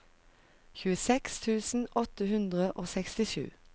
tjueseks tusen åtte hundre og sekstisju